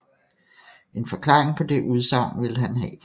En forklaring på det udsagn ville han have